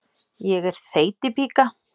Ég er þeytipíka.